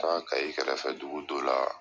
Taag KAYI kɛrɛfɛdugu dɔ la.